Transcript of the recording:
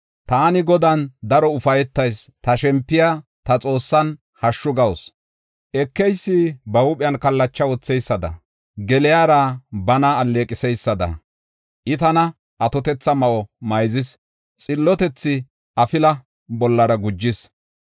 Taani Godan daro ufaytayis; ta shempiya ta Xoossan hashshu gawusu. Ekeysi ba huuphen kallacha wotheysada, geliyara bana alleeqiseysada, I tana atotetha ma7o mayzis; xillotethi afila bollara gujis.